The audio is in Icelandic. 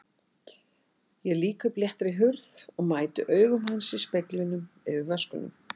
Ég lýk upp léttri hurð og mæti augum hans í speglinum yfir vöskunum.